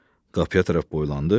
Qapıya tərəf boylandı.